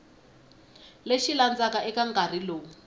lexi landzelaka eka nkarhi lowu